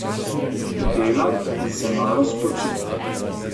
Delat in se malo spočit.